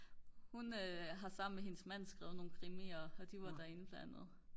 hun har sammen med hendes mand skrevet nogle krimier og de var derinde blandt andet